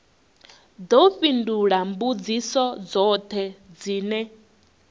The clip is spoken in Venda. ḓo fhindula mbudziso dzoṱhe dzine